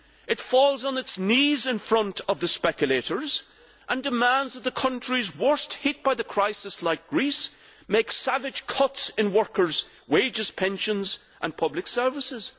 It falls on its knees in front of the speculators and demands that the countries worst hit by the crisis, like Greece, make savage cuts in workers' wages, pensions and public services.